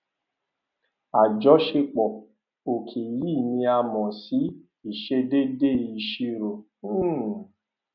àjọṣepọ òkè yìí ni a mọ sí ìṣedéédé ìṣirò um